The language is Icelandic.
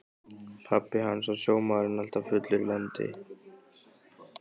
Pabbi hans var sjómaður en alltaf fullur í landi.